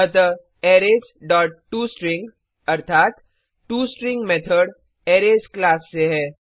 अतः arrays dot to string अर्थात to string method arrays class से है